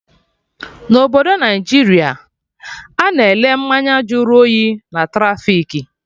Na obodo Naijiria, Ana ele mmanya jụrụ oyi na trafik